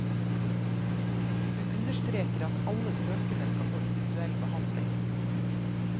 Hun understreker at alle søkerne skal få individuelle behandling.